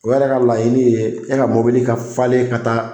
O yɛrɛ ka laɲinin ye e ka mɔbili ka falen ka taa